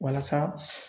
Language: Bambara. Walasa